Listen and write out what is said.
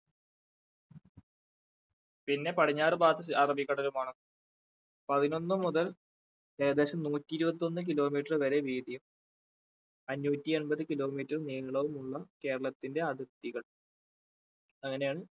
പിന്നെ പടിഞ്ഞാറ് ഭാഗത്ത് അറബിക്കടലുമാണ് പതിനൊന്നു മുതൽ ഏകദേശം നൂറ്റി ഇരുപത്തി ഒന്ന് kilometer വരെ വീതിയും അഞ്ഞൂറ്റി അമ്പത് kilometer നീളവുമുള്ള കേരളത്തിന്റെ അതിർത്തികൾ അങ്ങനെയാണ്